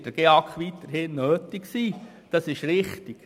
Dort wird der GEAK weiterhin nötig sein, das ist richtig.